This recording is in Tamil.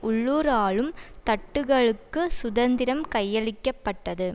உள்ளூர் ஆளும் தட்டுக்களுக்கு சுதந்திரம் கையளிக்க பட்டது